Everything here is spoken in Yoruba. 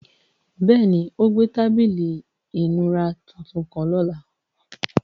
Bẹ́ẹ̀ni, o gbẹ̀ tabílí ìmúrà tuntun kan lọ́lá.